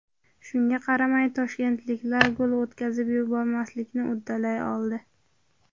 Shunga qaramay toshkentliklar gol o‘tkazib yubormaslikni uddalay oldi.